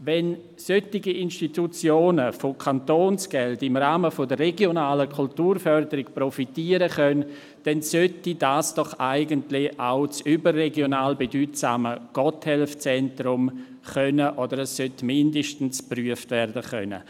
Wenn solche Institutionen von Kantonsgeld im Rahmen der regionalen Kulturförderung profitieren können, dann sollte dies doch eigentlich auch das überregional bedeutsame Gotthelf-Zentrum können – oder dies sollte zumindest geprüft werden können.